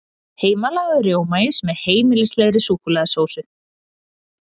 Heimalagaður rjómaís með heimilislegri súkkulaðisósu